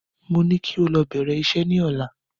Mo ní kí o lọ bèrè isẹ́ ní ọ̀la